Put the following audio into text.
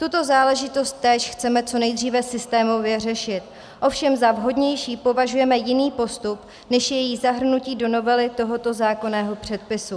Tuto záležitost též chceme co nejdříve systémově řešit, ovšem za vhodnější považujeme jiný postup než její zahrnutí do novely tohoto zákonného předpisu.